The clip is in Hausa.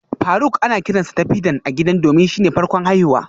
Faruk ana kiransa Tafidan a gida domin shine farkon haihuwa